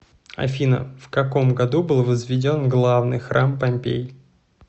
афина в каком году был возведен главный храм помпей